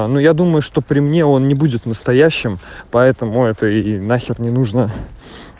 а ну я думаю что при мне он не будет настоящим поэтому это и нахер не нужно